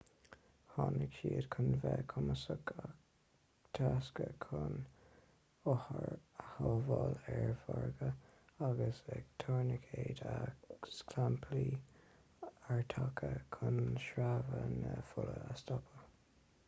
tháinig siad chun bheith cumasach ag teascadh chun othair a shábháil ar mhorgadh agus ag tuirnicéid agus clamplaí airtaireacha chun sreabhadh na fola a stopadh